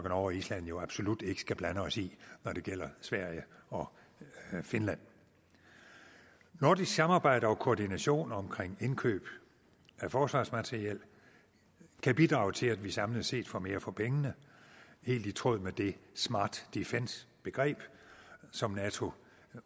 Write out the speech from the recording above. og island jo absolut ikke skal blande os i når det gælder sverige og finland nordisk samarbejde og koordination omkring indkøb af forsvarsmateriel kan bidrage til at vi samlet set får mere for pengene helt i tråd med det smart defence begreb som nato